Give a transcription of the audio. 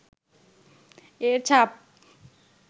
এর ছাপ